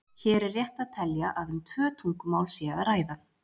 hér er rétt að telja að um tvö tungumál sé að ræða